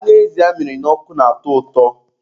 Anụ ezi amịrị n'ọkụ na-atọ ụtọ.